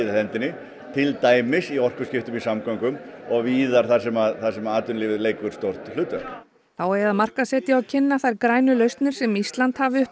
hendinni til dæmis í orkuskiptum í samgöngum og víðar þar sem þar sem að atvinnulífið leikur stórt hlutverk þá eigi að markaðssetja og kynna þær grænu lausnir sem Ísland hafi upp